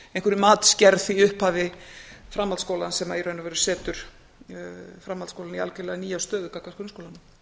í upphafi framhaldsskólans sem í raun og veru setur framhaldsskólann í algjörlega nýja stöðu gagnvart